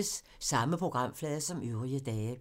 Samme programflade som øvrige dage